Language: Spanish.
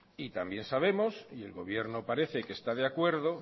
también sabemos y el gobierno parece que está de acuerdo